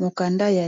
mokanda ya